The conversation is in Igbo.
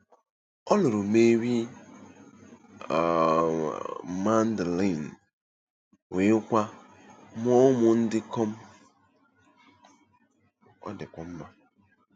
Ọ̀ luru Meri um Magdalini, were kwa mua umu-ndikom? um